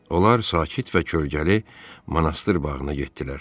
Onlar sakit və kölgəli monastır bağına getdilər.